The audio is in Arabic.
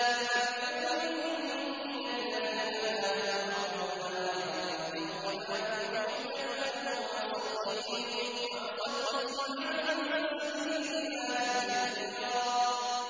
فَبِظُلْمٍ مِّنَ الَّذِينَ هَادُوا حَرَّمْنَا عَلَيْهِمْ طَيِّبَاتٍ أُحِلَّتْ لَهُمْ وَبِصَدِّهِمْ عَن سَبِيلِ اللَّهِ كَثِيرًا